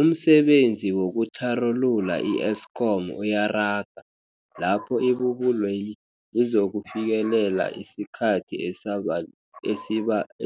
Umsebenzi wokutlharulula i-Eskom uyaraga, lapho ibubulweli lizokufikelela isikhathi